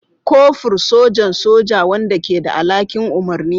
Kofur, sojan soja wanda ke da alhakin umarni.